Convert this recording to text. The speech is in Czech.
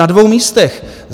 Na dvou místech.